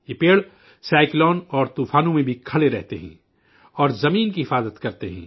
یہ درخت سائیکلوں اور طوفانوں میں بھی کھڑے رہتے ہیں اور زمین کو تحفظ فراہم کرتے ہیں